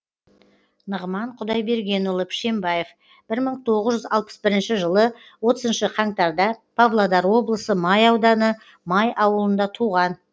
нығман құдайбергенұлы пішенбаев бір мың тоғыз жүз алпыс бірінші жылы отызыншы қаңтарда павлодар облысы май ауданы май ауылында туған